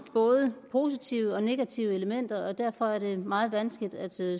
både positive og negative elementer og derfor er det meget vanskeligt at